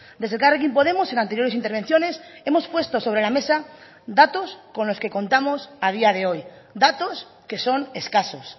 desde elkarrekin podemos en anteriores intervenciones hemos puesto sobre la mesa datos con los que contamos a día de hoy datos que son escasos